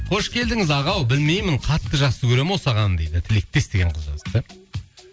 қош келдіңіз аға ау білмеймін қатты жақсы көремін осы ағаны дейді тілектес деген қыз жазыпты